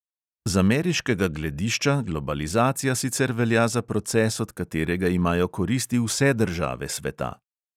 Z ameriškega gledišča globalizacija sicer velja za proces, od katerega imajo koristi vse države sveta.